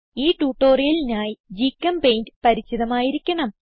ഈ ട്യൂട്ടോറിയലിനായി ഗ്ചെമ്പെയിന്റ് പരിചിതമായിരിക്കണം